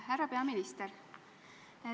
Härra peaminister!